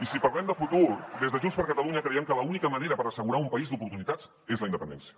i si parlem de futur des de junts per catalunya creiem que l’única manera per assegurar un país d’oportunitats és la independència